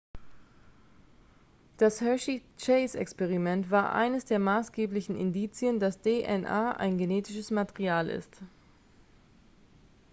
das hershey-chase-experiment war eines der maßgeblichen indizien dass dna ein genetisches material ist